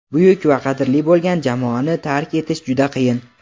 buyuk va qadrli bo‘lgan jamoani tark etish juda qiyin.